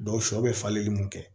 sɔ be falen mun kɛ